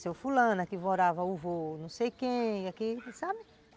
Seu fulana que morava, o avô não sei quem, sabe?